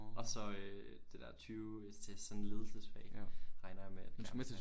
Og så øh det er 20 ECTS sådan ledelsesfag regner jeg med at jeg gerne vil have